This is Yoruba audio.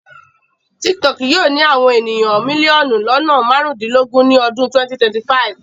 TikTok yóò ní àwọn ènìyàn mílíọ̀nù lọ́nà marundinlogun ni ọdún 2025.